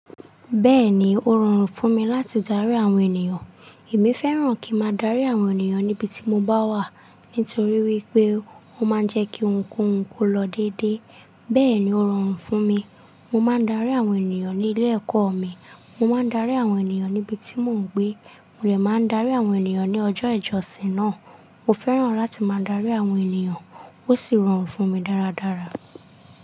Bẹ́ẹ̀ni, ó rọrùn fún mi láti darí àwọn ènìyàn. Èmi fẹ́ràn kí máa darí àwọn ènìyàn níbi tí mo bá wà, nítorí wípé o máa ń jẹ́ kí ohún kohún lọ dédé. Bẹ́ẹ̀ni, ó rọrùn fún mi. Mo máa ń darí àwọn ènìyàn ní ilé ẹ̀kọ́ mi. Mo máa ń darí àwọn ènìyàn níbi tí mò ń gbé. Mo dẹ̀ máa ń darí àwọn ènìyàn ní ọjọ́ ìjọsìn náà. Mo fẹ́ràn láti máa darí àwọn ènìyàn ó sì rọrùn fún mi dáradára.